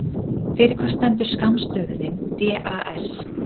Fyrir hvað stendur skammstöfunin DAS?